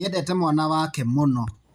Nĩendete mwana wake mũno,